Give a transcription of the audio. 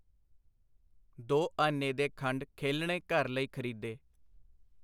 ਦੋ ਆਨੇ ਦੇ ਖੰਡ ਖੇਲਣੇ ਘਰ ਲਈ ਖਰੀਦੇ.